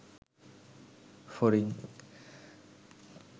ফড়িং